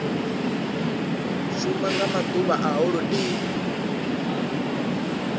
shuma nga maḓuvha a holodeni